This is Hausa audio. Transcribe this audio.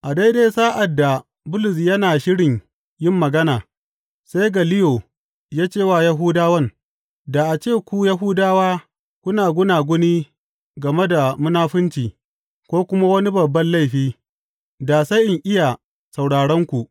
A daidai sa’ad da Bulus yana shirin yin magana, sai Galliyo ya ce wa Yahudawan, Da a ce ku Yahudawa kuna gunaguni game da munafunci, ko kuma wani babban laifi, da sai in iya sauraronku.